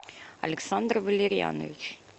александр валерьянович